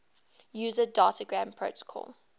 user datagram protocol